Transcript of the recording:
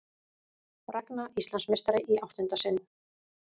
Ragna Íslandsmeistari í áttunda sinn